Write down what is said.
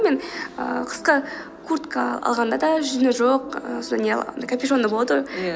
мен ііі қысқы куртка алғанда да жүні жоқ ііі сондай не капюшонында болады ғой иә